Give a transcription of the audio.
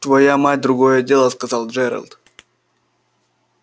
твоя мать другое дело сказал джералд